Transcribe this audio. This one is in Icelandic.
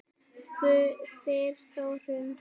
spyr Þórður